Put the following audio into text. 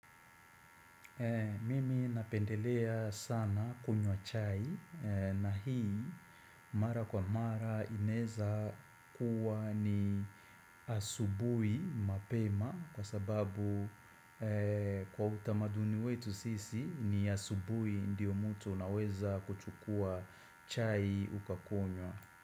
Mimi napendelea sana kunywa chai na hii mara kwa mara inaweza kuwa ni asubui mapema kwa sababu kwa utamaduni wetu sisi ni asubui ndiyo mtu unaweza kuchukua chai ukakunywa.